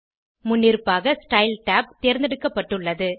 முன்னிருப்பாக style tab தேர்ந்தெடுக்கப்பட்டுள்ளது